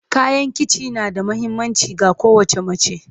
Kayan kici na da mahimmanci ga kowace mace.